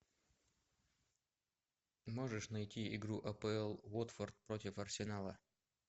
можешь найти игру апл уотфорд против арсенала